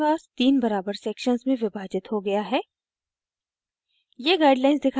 अब हमारा canvas तीन बराबर sections में विभाजित हो गया है